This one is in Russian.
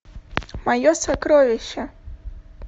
мое сокровище